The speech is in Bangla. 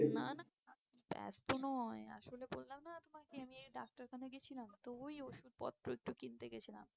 না না, ব্যস্ত নয়। আসলে বললাম না আপনাকে আমি এই ডাক্তারখানায় গিয়েছিলাম, তো ওই ওষুধপত্র একটু কিনতে গিয়েছিলাম।